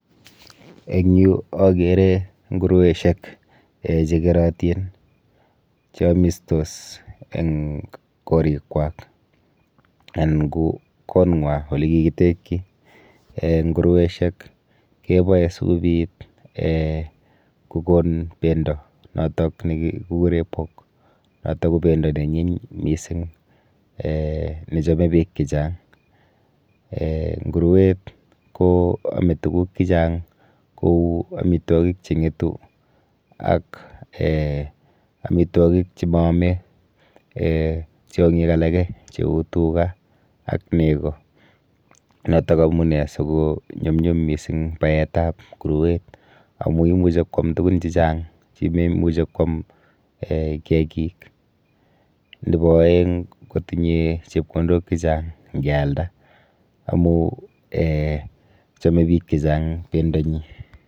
Eng yu akere ngurueshek um chekerotin cheamistos eng korikwak anan ko kong'wa olekikitekchi. um Ngurueshek keboe sikobit um kokon bendo notok nekikure pork notok ko bendo neanyiny mising um nechome biik chechang um nguruet ko ame tuguk chechang kou amitwokik cheng'etu ak um amitwokik chemoome[um] tiong'ik alake cheu tuga ak nego, notok amune sikonyumnyum mising baetap nguruet amu imichi kwam tugun chechang chimemuchi kwam um kiakik. Nepo oeng kotinye chepkondok chechang nkealda amu um chome biik chechang bendonyi.